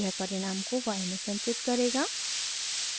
यह परिणाम को y में संचित करेगा